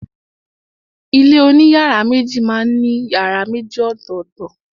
Ilé oní yàrá méjì má n ní yàrá méjì ọ̀tọ̀tọ̀.